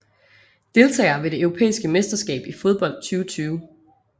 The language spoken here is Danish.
Deltagere ved det europæiske mesterskab i fodbold 2020